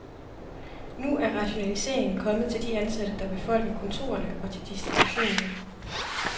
Nu er rationaliseringen kommet til de ansatte, der befolker kontorerne og til distributionen.